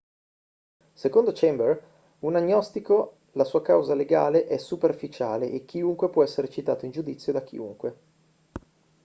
secondo chambers un agnostico la sua causa legale è superficiale e chiunque può essere citato in giudizio da chiunque